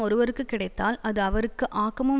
ஒருவருக்கு கிடைத்தால் அது அவருக்கு ஆக்கமும்